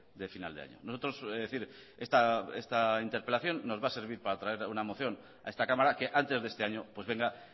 de final de año nosotros es decir esta interpelación nos va a servir para traer una moción a esta cámara que antes de este año pues venga